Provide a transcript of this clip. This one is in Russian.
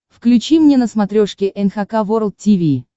включи мне на смотрешке эн эйч кей волд ти ви